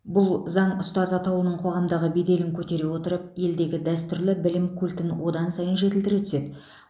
бұл заң ұстаз атаулының қоғамдағы беделін көтере отырып елдегі дәстүрлі білім культін одан сайын жетілдіре түседі